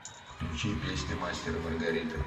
включи песня мастер и маргарита